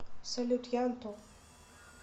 салют я антон